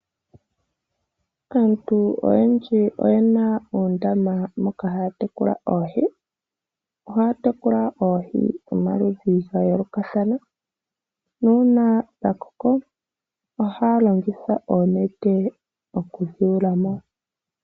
Aantu oyendji oyena uundama moka haya tekula oohi. Ohaya tekula oohi dhomaludhi gayoolokathana, nuuna dhakoko, ohaya longitha oonete okudhi yulamo.